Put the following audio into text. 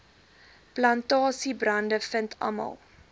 plantasiebrande vind almal